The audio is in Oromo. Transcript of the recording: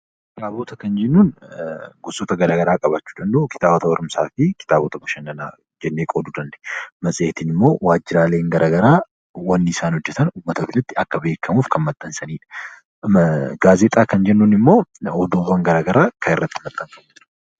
Kitaabota kan jennuu gosoota garaagaraa qabaachuu danda'a kitaabota barumsaa fi kitaabota bashannanaajennee qooduu dandeenya. Matseetiin immoo waajjiraaleen garaagaraa wanti isaan hojjatan uummatatti akka beekamuuf kan maxxansanidha. Gaazexaa kan jennuun immoo odeeffannoon garaagaraa kan irratti maxxanfamanidha.